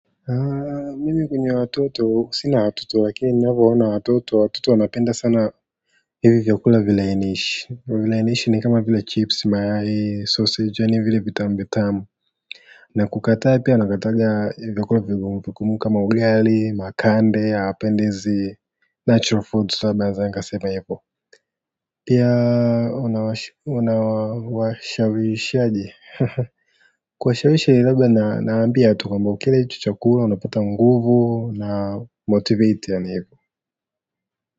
Mimi kwenye watoto sina watoto lakini ninavo ona watoto, watoto wanapenda sana hivi vyakula vilainishi ni kama vile chips mayai sausage ni vile vitamu vitamu na kukataa pia nakataaga vyakula vigumu vigumu kama ugali makande hawapendi hizi natural foods labda naeza nikasema hivo ni, pia unawashawishaje, ha ha ha. Kuwashawishi labda nawaambia tu kwamba hichi chakula unapata nguvu na motivate yaani hivo.